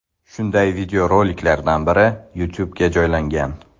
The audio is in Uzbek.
Shunday videoroliklardan biri YouTube ’ga joylangan.